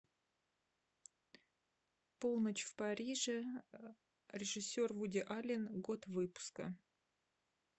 полночь в париже режиссер вуди аллен год выпуска